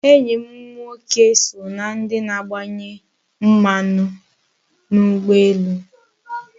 Enyi m nwoke so na ndi na-agbanye mmanu n'ugboelu